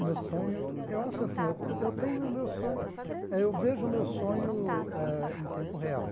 O meu sonho... Eu acho que assim, eu estou eu tenho o meu sonho... Eh eu vejo o meu sonho eh em tempo real.